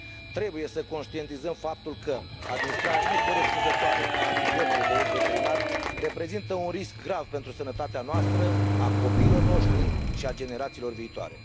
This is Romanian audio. Trebuie să conștientizăm faptul că administrarea necorespunzătoare a antibioticelor de uz veterinar reprezintă un risc grav pentru sănătatea noastră, a copiilor noștri și a generațiilor viitoare.